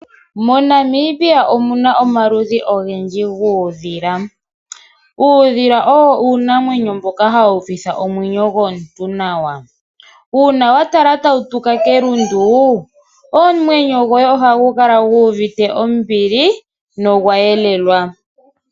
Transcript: Mo Namibia omuna omaludhi ogendji guudhila ,uudhila owo uunamwenyo mboka hawu uvitha omwenyo gomuntu nawa. Uuna wa tala tawu tuka kelundu omwenyo goye ohagu kala gu uvite ombili nogwa yelelwa.